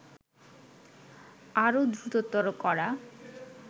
আরও দ্রুততর করা